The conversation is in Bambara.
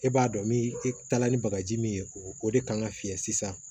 E b'a dɔn min e taala ni bagaji min ye o de kan ka fiyɛ sisan